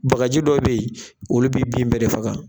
Bagaji dɔ bɛ ye olu bɛ bin bɛɛ de faga.